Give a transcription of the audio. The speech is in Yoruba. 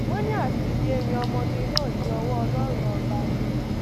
wọn ní àti dídé rin ọmọge náà dí ọwọ ọlọrun ọba ni